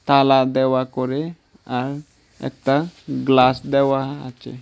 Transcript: তালা দেওয়া করে আর একটা গ্লাস দেওয়া আছে।